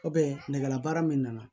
nɛgɛlabaara min nana